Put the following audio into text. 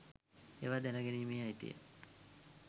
ඒවා දැන ගැනීමේ අයිතිය